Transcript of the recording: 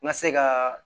N ka se ka